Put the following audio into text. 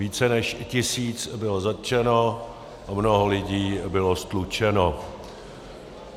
Více než tisíc bylo zatčeno a mnoho lidí bylo ztlučeno.